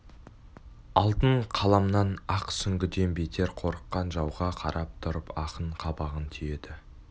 алтын қаламнан ақ сүңгіден бетер қорыққан жауға қарап тұрып ақын қабағын түйеді